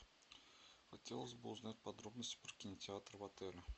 хотелось бы узнать подробности про кинотеатр в отеле